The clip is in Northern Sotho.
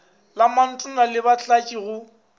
le mantona le batlatši go